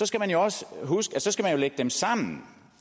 skal man også huske at så skal man jo lægge dem sammen